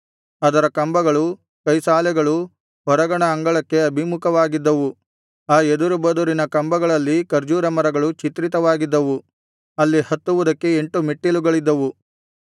ಅದರ ಕಂಬಗಳು ಕೈಸಾಲೆಗಳು ಹೊರಗಣ ಅಂಗಳಕ್ಕೆ ಅಭಿಮುಖವಾಗಿದ್ದವು ಆ ಎದುರುಬದುರಿನ ಕಂಬಗಳಲ್ಲಿ ಖರ್ಜೂರ ಮರಗಳು ಚಿತ್ರಿತವಾಗಿದ್ದವು ಅಲ್ಲಿ ಹತ್ತುವುದಕ್ಕೆ ಎಂಟು ಮೆಟ್ಟಿಲುಗಳಿದ್ದವು